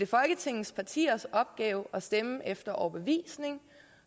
folketingets partiers opgave at stemme efter overbevisning